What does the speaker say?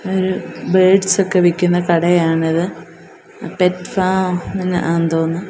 ഒരു ബേർഡ്സൊക്കെ ഒക്കെ വിക്കുന്ന കടയാണിത് പെറ്റ് ഫാം ആന്ന് തോന്നുന്നു.